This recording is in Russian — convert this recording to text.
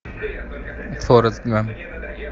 форрест гамп